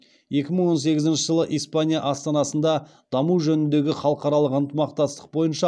екі мың он сегізінші жылы испания астанасында даму жөніндегі халықаралық ынтымақтастық бойынша